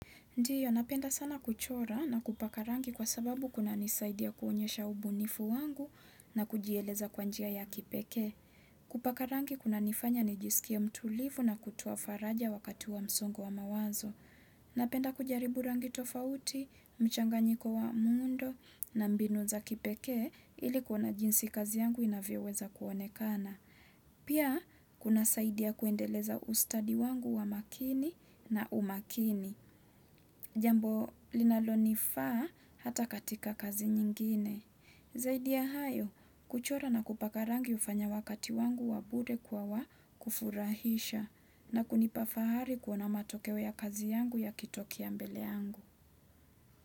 Ndiyo, napenda sana kuchora na kupaka rangi kwa sababu kuna nisaidia kuonyesha ubunifu wangu na kujieleza kwa njia ya kipekee. Kupaka rangi kunanifanya nijisikie mtulivu na kutoa faraja wakati wa msongo wa mawazo. Napenda kujaribu rangi tofauti, mchanganyiko wa muundo na mbinu za kipekee ili kuona jinsi kazi yangu inavyoweza kuonekana. Pia, kunasaidia kuendeleza ustadi wangu wa makini na umakini. Jambo linalo nifaa hata katika kazi nyingine. Zaidi ya hayo, kuchora na kupaka rangi hufanya wakati wangu wa bure kwa wakufurahisha na kunipa fahari kuona matokeo ya kazi yangu yakitokea mbele yangu.